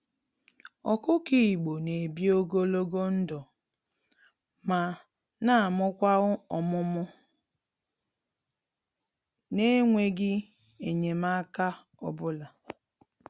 Ọkụkọ Igbo n'ebi ogologo ndụ, ma namụkwa ọmụmụ nenweghi enyemaka ọbula.